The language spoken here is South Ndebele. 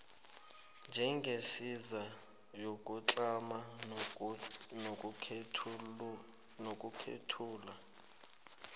njengesiza yokutlama nokwethula